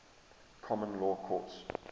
common law courts